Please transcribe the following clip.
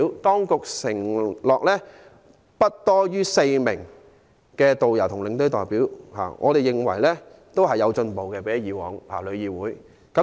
當局承諾邀請"不多於4名"導遊或領隊代表，我們認為比以往的旅議會有進步。